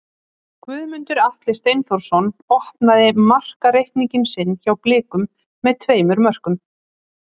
Guðmundur Atli Steinþórsson opnaði markareikning sinn hjá Blikum með tveimur mörkum.